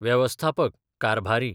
वेवस्थापक, कारभारी